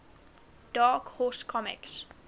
dark horse comics